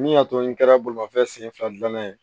Min y'a to n kɛra bolimafɛn sen fila dilanna ye